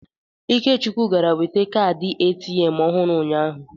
Ikechukwu gara nweta kaadị ATM ọhụrụ ụnyahụ.